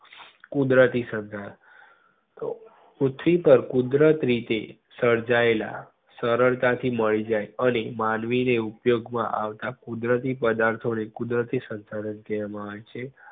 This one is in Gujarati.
કુદરતી શંશાધન પૃથ્વી પાર કુદરત રીતે શારજાયેલા સરળતાથી મળી જય અને માનવી ને ઉપયોગ માં આવતા કુદરતી પદાર્થો ને કુદરતી શંશાધનો કહેવામાં આવે છે.